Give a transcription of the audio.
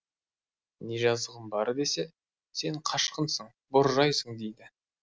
не жазығым бар десе сен қашқынсың боржайсың дейді